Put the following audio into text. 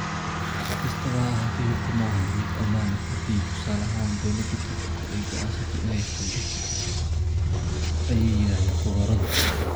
Si kastaba ha ahaatee, hubku ma ahan mid ammaan ah haddii, tusaale ahaan, dowladda Turkiga ay go'aansato in ay xado ayay yiraahdeen khubaradu.